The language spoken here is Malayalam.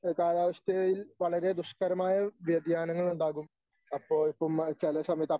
കാലാവസ്ഥയിൽ വളരെ ദുഷ്കരമായ വ്യതിയാനങ്ങൾ ഉണ്ടാകും അപ്പോ ഇപ്പം ചില സമയത്ത്